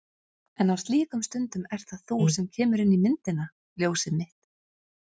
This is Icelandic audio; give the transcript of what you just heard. En á slíkum stundum ert það þú sem kemur inn í myndina. ljósið mitt.